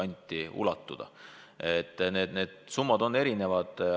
Nii et need summad on erinevad.